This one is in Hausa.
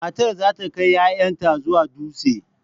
Matar za ta kai 'ya'yanta zuwa dutse.